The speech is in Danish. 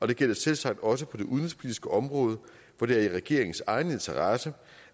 det gælder selvsagt også på det udenrigspolitiske område hvor det er i regeringens egen interesse